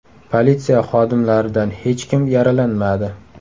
Politsiya xodimlaridan hech kim yaralanmadi.